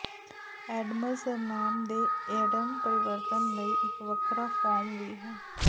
Adams surname ਦੇ Adam ਪਰਿਵਰਤਨ ਲਈ ਇੱਕ ਵੱਖਰਾ ਫੋਰਮ ਵੀ ਹੈ